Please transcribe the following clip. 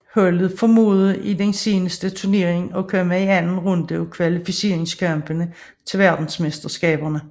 Holdet formåede i den seneste turnering at komme til anden runde af kvalifikationskampene til verdensmesterskaberne